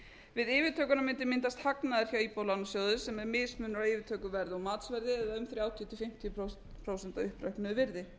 við yfirtökuna mundi myndast hagnaður hjá íbúðalánasjóði sem er mismunur á yfirtökuverði og matsverði eða um þrjátíu til fimmtíu prósent á uppreiknuðu virði